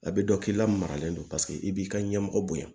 A bɛ dɔn k'i lamaralen don paseke i b'i ka ɲɛmɔgɔ bonya